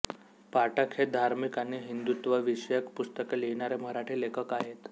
पाठक हे धार्मिक आणि हिंदुत्वविषयक पुस्तके लिहिणारे मराठी लेखक आहेत